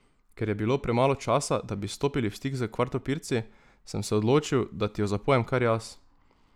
Ker je bilo premalo časa, da bi stopili v stik s Kvatropirci, sem se odločil, da ti jo zapojem kar jaz.